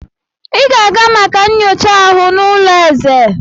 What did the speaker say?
Ị ga-aga maka nyocha aha n'ụlọ eze!